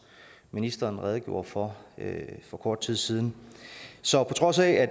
ministeren redegjorde for for kort tid siden så på trods af at